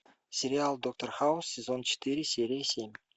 сериал доктор хаус сезон четыре серия семь